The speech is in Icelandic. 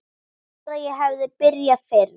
Bara ég hefði byrjað fyrr!